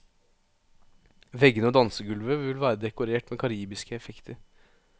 Veggene og dansegulvet vil være dekorert med karibiske effekter.